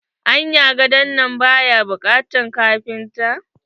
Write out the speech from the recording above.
Anya gadon nan baya bukatan kafinta?